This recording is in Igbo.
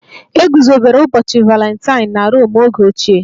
E guzobere ụbọchị Valentine na Rom oge ochie